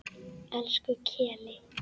Elsku Keli.